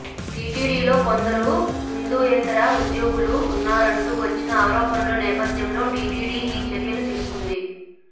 టీటీడీలో కొందరు హిందూయేతర ఉద్యోగులు ఉన్నారంటూ వచ్చిన ఆరోపణల నేపథ్యంలో టీటీడీ ఈ చర్యలు తీసుకుంది